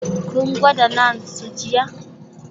Kun gwada naan su jiya?